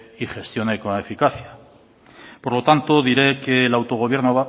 y gestione con eficacia por lo tanto diré que el autogobierno